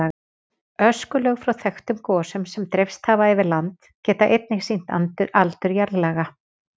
Öskulög frá þekktum gosum sem dreifst hafa yfir land geta einnig sýnt aldur jarðlaga.